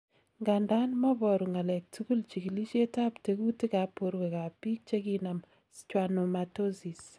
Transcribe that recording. Ngandan, moboru ng'alek tukul chikilisietab tekutikab borwekab biik chekinam schwannomatosis.